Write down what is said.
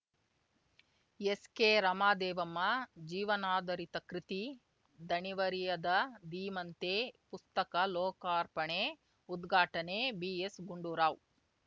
ಎಸ್‌ಕೆರಮಾದೇವಮ್ಮ ಜೀವನಾಧಾರಿತ ಕೃತಿ ದಣಿವರಿಯದ ಧೀಮಂತೆ ಪುಸ್ತಕ ಲೋಕಾರ್ಪಣೆ ಉದ್ಘಾಟನೆ ಬಿಎಸ್‌ಗುಂಡೂರಾವ್‌